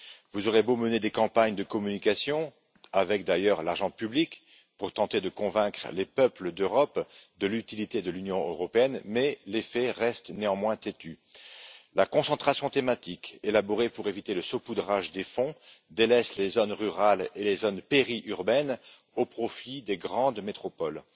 Vous aurez beau mener des campagnes de communication avec, d'ailleurs, l'argent public pour tenter de convaincre les peuples d'Europe de l'utilité de l'Union européenne, les faits restent néanmoins têtus. La concentration thématique, élaborée pour éviter le saupoudrage des fonds, délaisse les zones rurales et périurbaines au profit des grandes métropoles.